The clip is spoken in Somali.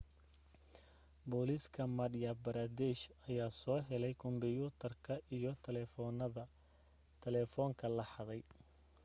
booliska madhya pradesh ayaa soo helay kombyuutarka iyo telefoonka la xaday